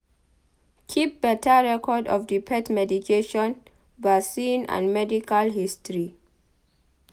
Keep better record of di pet medication vaccine and medical history